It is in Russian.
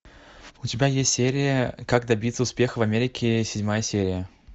у тебя есть серия как добиться успеха в америке седьмая серия